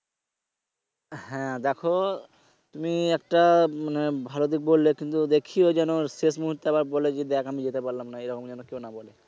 হ্যা দেখো তুমি একটা মানে ভালো দিক বললে কিন্তু দেখিও যেন শেষ মূহর্তে আবার বলে যে দেখ আমি যেতে পারলাম না। এরকম যেন কেউ না বলে।